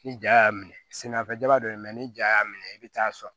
Ni ja y'a minɛ senna fɛnjama dɔ ye mɛ ni ja y'a minɛ i bɛ taa sɔrɔ